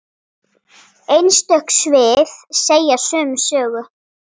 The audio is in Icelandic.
Einstök svið segja sömu sögu.